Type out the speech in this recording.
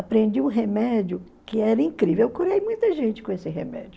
Aprendi um remédio que era incrível, eu curei muita gente com esse remédio.